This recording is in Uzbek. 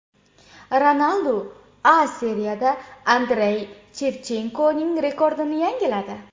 Ronaldu A Seriyada Andrey Shevchenkoning rekordini yangiladi.